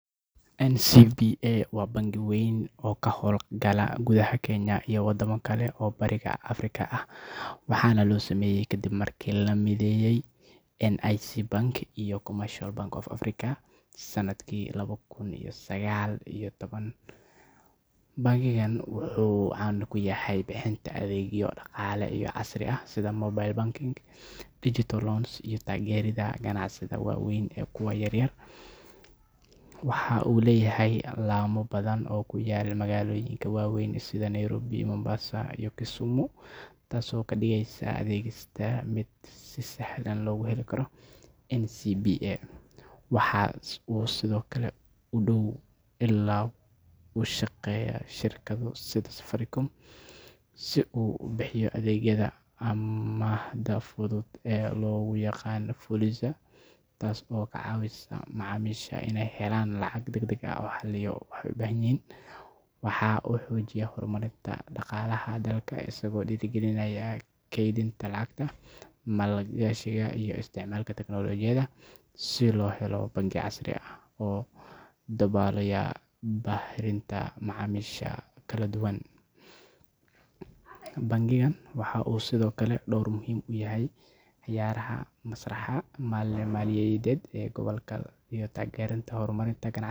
NCBA waa bangi weyn oo ka howl-gala gudaha Kenya iyo wadamo kale oo Bariga Afrika ah, waxaana la sameeyay kadib markii la mideeyay NIC Bank iyo Commercial Bank of Africa sanadkii laba kun iyo sagaal iyo toban. Bangigani wuxuu caan ku yahay bixinta adeegyo dhaqaale oo casri ah sida mobile banking, digital loans, iyo taageeridda ganacsiyada waaweyn iyo kuwa yaryar. Waxa uu leeyahay laamo badan oo ku yaal magaalooyinka waaweyn sida Nairobi, Mombasa, iyo Kisumu, taas oo ka dhigaysa adeeggiisa mid si sahlan loo heli karo. NCBA waxa uu sidoo kale si dhow ula shaqeeyaa shirkado sida Safaricom si uu u bixiyo adeegyada amaahda fudud ee loo yaqaan Fuliza, taas oo ka caawisa macaamiisha inay helaan lacag degdeg ah xilliyo ay u baahdaan. Waxa uu xoojiyaa horumarinta dhaqaalaha dalka isagoo dhiirrigelinaya kaydinta lacagta, maalgashiga iyo isticmaalka tiknoolajiyadda si loo helo bangi casri ah oo daboolaya baahiyaha macaamiisha kala duwan. Bangigani waxa uu sidoo kale door muhiim ah ka ciyaaraa masraxa maaliyadeed ee gobolka isagoo taageera horumarinta ganacsiyada.